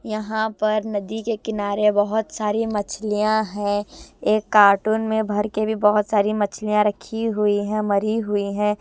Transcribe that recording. यहाँ पर नदी के किनारे बहुत सारी मछलियाँ हैं एक कार्टून में भर के भी बहुत सारी मछलियाँ रखी हुई हैं मरी हुई हैं।